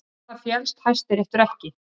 Á það féllst Hæstiréttur ekki